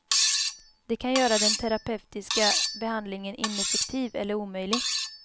Det kan göra den terapeutiska behandlingen ineffektiv eller omöjlig.